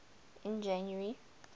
in january